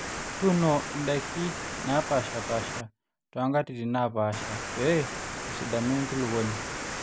tuuno indaiki naapaashipaasha too nkatitin naapaasha pee esidanu enkulukuoni